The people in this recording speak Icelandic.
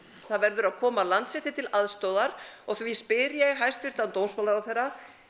það verður að koma Landsrétti til aðstoðar og því spyr ég hæstvirtan dómsmálaráðherra